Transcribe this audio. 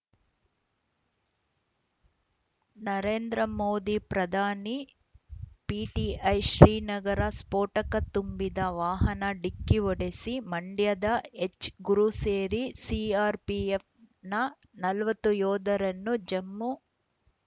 ನರೇಂದ್ರ ಮೋದಿ ಪ್ರಧಾನಿ ಪಿಟಿಐ ಶ್ರೀನಗರ ಸ್ಫೋಟಕ ತುಂಬಿದ್ದ ವಾಹನ ಡಿಕ್ಕಿ ಹೊಡೆಸಿ ಮಂಡ್ಯದ ಎಚ್‌ ಗುರು ಸೇರಿ ಸಿಆರ್‌ಪಿಎಫ್‌ನ ನಲವತ್ತು ಯೋಧರನ್ನು ಜಮ್ಮು